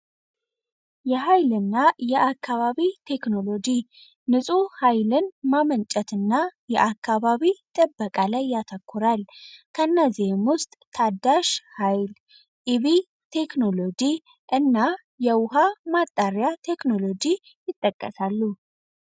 የሐይልና የአካባቢ ቴክኖሎጂ ንጹ ኃይልን ማመንጨትና የአካባቢ ደበቃ ላይ ያተኮራል ከእነዚህም ውስጥ ታዳሽ ኃይል ቴክኖሎጂ እና የውሃ ማጣሪያ ቴክኖሎጂ ይጠቀሳሉ